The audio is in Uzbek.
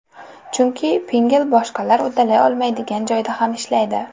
Chunki Pinngle boshqalar uddalay olmaydigan joyda ham ishlaydi!